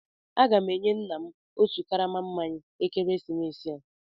Aga m enye nna m otu karama mmanya ekeresimesi a.